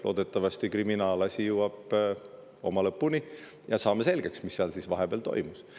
Loodetavasti jõuab kriminaalasi lõpule ja me saame selgeks, mis seal siis vahepeal toimus.